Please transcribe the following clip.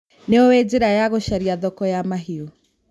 Nĩũĩ njĩra ya gũcaria thoko ya mahiũ.